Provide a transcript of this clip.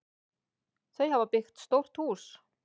Þau hafa byggt stórt hús.